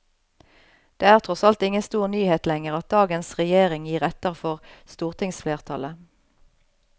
Det er tross alt ingen stor nyhet lenger at dagens regjering gir etter for stortingsflertallet.